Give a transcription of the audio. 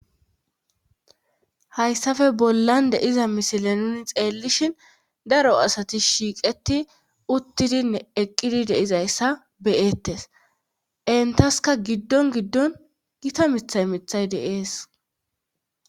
hayssafe bollan de'iza misile nuni xeellishin daro asati shiiqeti uttidinne eqqidi deizayssa beyettes entaska giddon giddon gita mithay mithay de'es